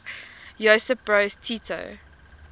josip broz tito